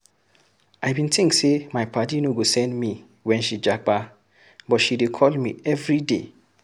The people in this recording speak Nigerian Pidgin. I bin tink sey my paddy no go send me wen she japa but she dey call me everyday.